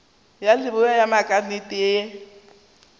ya leboa ya maknete ye